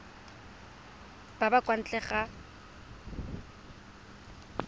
ba ba kwa ntle ga